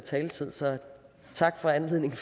taletid så tak for anledningen